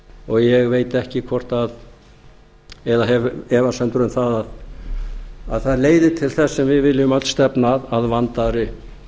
og ég hef efasemdir um að það leiði til þess sem við viljum öll stefna að að vandaðri